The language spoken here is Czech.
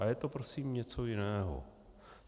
A je to prosím něco jiného.